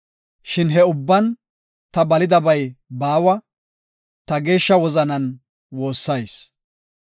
Shin he ubban ta balidabay baawa; ta geeshsha wozanan woossayis.